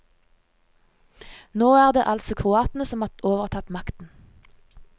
Nå er det altså kroatene som har overtatt makten.